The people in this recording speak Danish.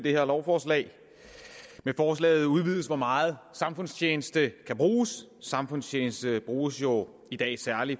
det her lovforslag med forslaget udvides det hvor meget samfundstjeneste kan bruges samfundstjeneste bruges jo i dag særlig